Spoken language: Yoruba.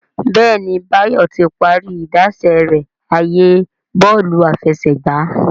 Béèni Bayo tí parí idáṣẹ rẹ ààyè Bọ́ọ̀lù àfẹsẹ̀gbá.